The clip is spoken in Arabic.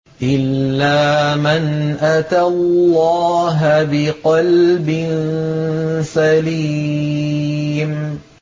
إِلَّا مَنْ أَتَى اللَّهَ بِقَلْبٍ سَلِيمٍ